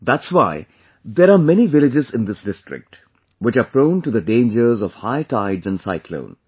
That's why there are many villages in this district, which are prone to the dangers of high tides and Cyclone